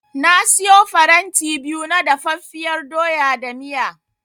Na siyo faranti biyu na dafaffiyar doya da miya.